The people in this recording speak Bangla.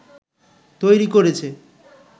তৈরি করেছে